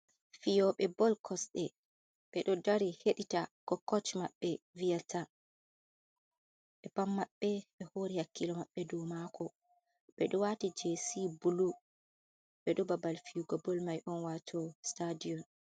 Fiyoɓee bol, kosɗe, ɓe ɗo dari heɗita ko koc maɓɓe vi'ta, ɓe pat maɓɓe ɓe hori hakkile maɓɓe dou mako beɗo wati jesi buluu, ɓe ɗo hababal fiyugo bol mai on, wato sitadiyom.